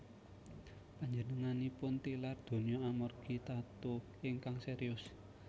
Panjenenganipun tilar donya amargi tatu ingkang serius